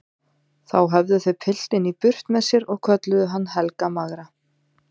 Þá höfðu þau piltinn í burt með sér og kölluðu hann Helga magra.